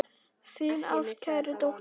Þín ástkær dóttir, Hildur.